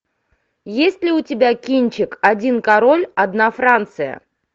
есть ли у тебя кинчик один король одна франция